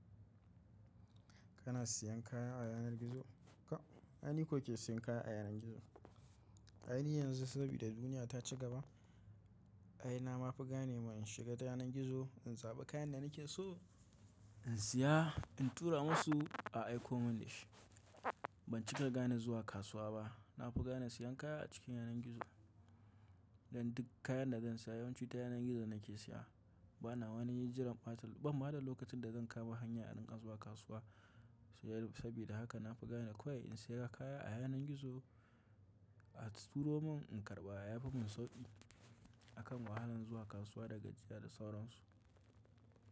Kana siyan kaya a yanar gizo, ka, ai ni ko ke siyan kaya a yanar gizo. Ai ni yanzu sabida duniya ta ci gaba, ai na ma fi gane ma in shiga ta yanar gizo, in zaɓi kayan da nake so, in siya, in tura musu, a aiko mun shi. Ban cika gane zuwa kasuwa ba. Na fi gane siyan kaya a cikin yanar gizo. Dan duk kayan da zan sa yawanci ta yanar gizo nake siya. Ba na wani jiran ɓata, bam ma da lokacin da zan kama hanya in rinƙa zuwa kasuwa. Sabida haka na fi gane kawai in siya kaya a yanar gizo, a turo mun, in karɓa, ya fi mun sauƙi akan wahalan zuwa kasuwa da gajiya da sauransu.